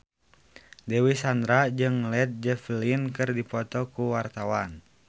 Dewi Sandra jeung Led Zeppelin keur dipoto ku wartawan